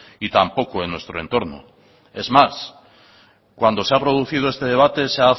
y tampoco en nuestro entorno es más cuando se ha producido este debate se